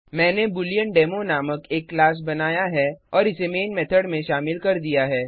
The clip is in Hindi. मैंने बूलेएंडेमो नामक एक क्लास बनाया है और इसे मेन मेथड में शामिल कर दिया है